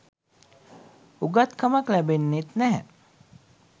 උගත් කමක් ලැබෙන්නෙත් නැහැ.